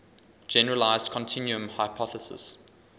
generalized continuum hypothesis